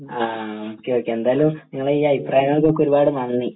ആഹ് okay okay എന്തായാലും നിങ്ങളുടെ ഈ അഭിപ്രായങ്ങൾക്ക് ഒക്കെ നന്ദി